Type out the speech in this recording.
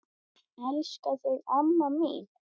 Elska þig, amma mín.